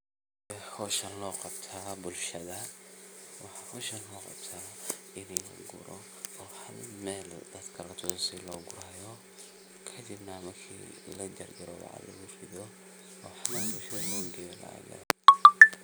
Sidhe hoshan loqabta bulshadha hoshan maxa loqabta ini laguro hal Mel latuso sidhi logurayo kadibna lajarjaro lagu ridho hal Mel p